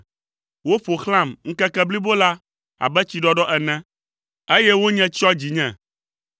Woƒo xlãm ŋkeke blibo la abe tsiɖɔɖɔ ene, eye wonye tsyɔ dzinye.